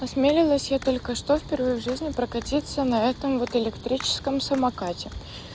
осмелилась я только что впервые в жизни прокатиться на этом вот электрическом самокате